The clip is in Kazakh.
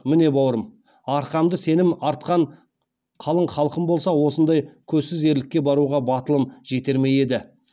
міне бауырым арқамда сенім артқан қалың халқым болмаса осындай көзсіз ерлікке баруға батылым жетер ме еді